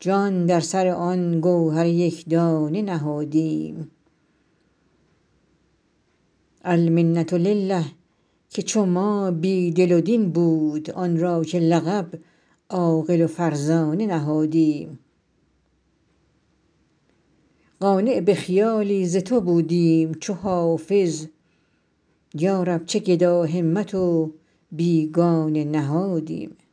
جان در سر آن گوهر یک دانه نهادیم المنة لله که چو ما بی دل و دین بود آن را که لقب عاقل و فرزانه نهادیم قانع به خیالی ز تو بودیم چو حافظ یا رب چه گداهمت و بیگانه نهادیم